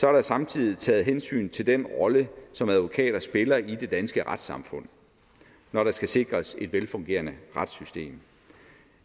er der samtidig taget hensyn til den rolle som advokater spiller i det danske retssamfund når der skal sikres et velfungerende retssystem